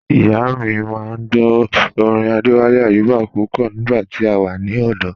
Ìyà mi máa n gbọ̀ orin Adéwálé Ayúbà pupọ̀ nígba tí a wà ní ọdò